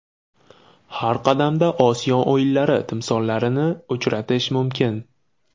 Har qadamda Osiyo o‘yinlari timsollarini uchratish mumkin.